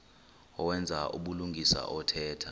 owenza ubulungisa othetha